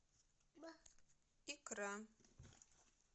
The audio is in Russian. икра